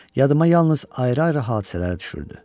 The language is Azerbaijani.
Yadıma yalnız ayrı-ayrı hadisələr düşürdü.